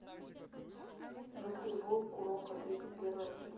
баскетбол куроко тридцать первая серия